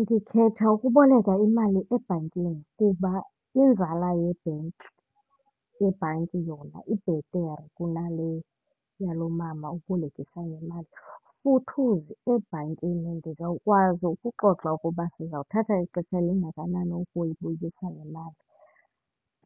Ndikhetha ukuboleka imali ebhankini kuba inzala yebhenki yebhanki yona ibhetere kunale yalo mama ubolekisa ngemali. Futhuzi ebhankini ndizawukwazi ukuxoxa ukuba sizawuthatha ixesha elingakanani ukuyibuyisa le mali.